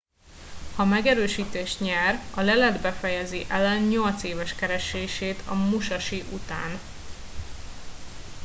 ha megerősítést nyer a lelet befejezi allen nyolc éves keresését a musashi után